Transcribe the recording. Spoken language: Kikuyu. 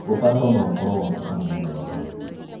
Ũtaro no ũkoro wakũ kana mũndũ wa famĩlĩ.